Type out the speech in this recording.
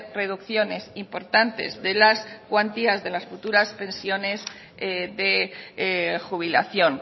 reducciones importantes de las cuantías de las futuras pensiones de jubilación